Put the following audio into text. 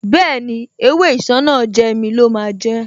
Bẹ́ẹ̀ni, ewé Isanaje mi lọ máa jẹ́